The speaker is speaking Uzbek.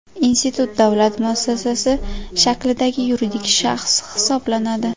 Institut davlat muassasasi shaklidagi yuridik shaxs hisoblanadi.